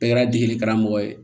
Bɛɛ kɛra degeli karamɔgɔ ye